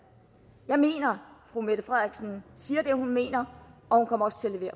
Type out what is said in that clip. jeg mener at fru mette frederiksen siger det hun mener og